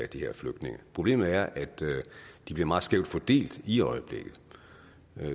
de her flygtninge problemet er at de bliver meget skævt fordelt i øjeblikket